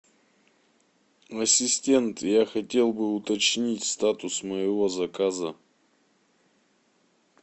ассистент я хотел бы уточнить статус моего заказа